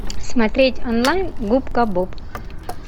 смотреть онлайн губка боб